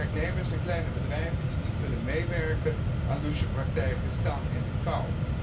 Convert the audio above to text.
Werknemers in kleine bedrijven die niet willen meewerken aan louche praktijken, staan in de kou.